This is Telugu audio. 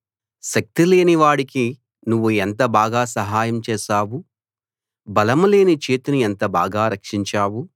శక్తి లేని వాడికి నువ్వు ఎంత బాగా సహాయం చేశావు బలం లేని చేతిని ఎంత బాగా రక్షించావు